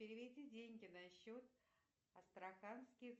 переведи деньги на счет астраханский